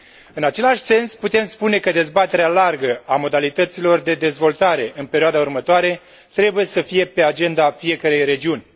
În același sens, putem spune că dezbaterea largă a modalităților de dezvoltare în perioada următoare trebuie să fie pe agenda fiecărei regiuni.